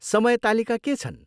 समय तालिका के छन्?